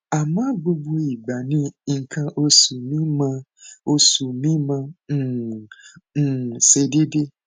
àmọ gbogbo ìgbà ni nǹkan oṣù mi máa oṣù mi máa um um ṣe déédé